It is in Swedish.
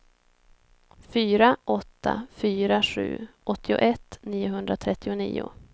fyra åtta fyra sju åttioett niohundratrettionio